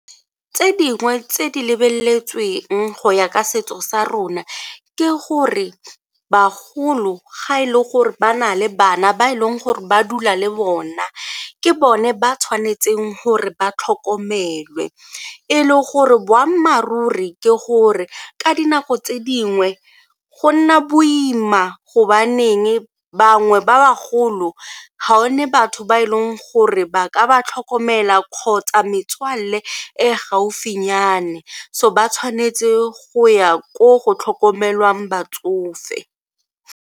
Tse dingwe tse di lebeletsweng go ya ka setso sa rona ke gore bagolo ga e le gore ba na le bana ba e leng gore ba dula le bona ke bone ba tshwanetseng gore ba tlhokomele e le gore boammaaruri ke gore ka dinako tse dingwe go nna boima gobaneng bangwe ba ba golo ga one batho ba e leng gore ba ka ba tlhokomela kgotsa metswalle e gaufinyane so ba tshwanetse go ya ko go tlhokomelwang batsofe.